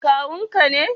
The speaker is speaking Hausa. Kawun ka ne?